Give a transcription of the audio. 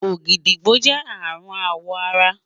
ògìdìgbó jẹ arun awọ ara